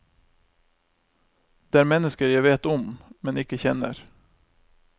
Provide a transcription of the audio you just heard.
Det er mennesker jeg vet om, men ikke kjenner.